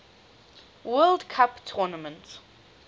world cup tournament